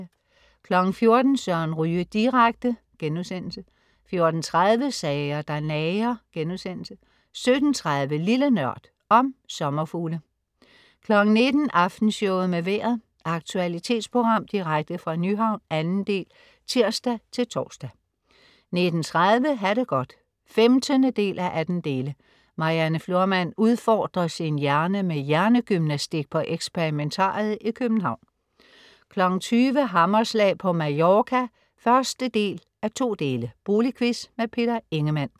14.00 Søren Ryge direkte* 14.30 Sager der nager* 17.30 Lille NØRD. Om sommerfugle 19.00 Aftenshowet med Vejret. Aktualitetsprogram direkte fra Nyhavn. 2. del. (tirs-tors) 19.30 Ha' det godt 15:18. Marianne Florman udfordrer sin hjerne med hjernegymnastik på eksperimentariet i København 20.00 Hammerslag på Mallorca 1:2. Boligquiz. Peter Ingemann